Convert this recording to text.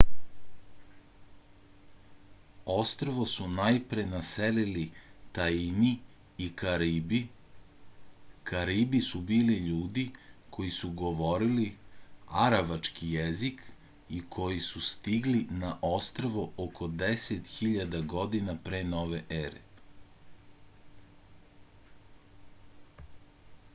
ostrvo su najpre naselili taini i karibi karibi su bili ljudi koji su govorili aravački jezik i koji su stigli na ostrvo oko 10.000 godina pre nove ere